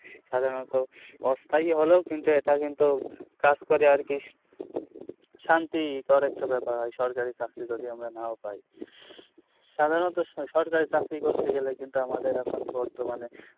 সাধারণত অস্থায়ী হলেও কিন্তু এটা কিন্তু কাজ করে আর কি শান্তি দেওয়ার একটা ব্যাপার হয় সরকারি চাকরি যদি আমরা নাও পাই সাধারণত সসরকারি চাকরি করতে গেলে কিন্তু আমাদের এখন বর্তমানে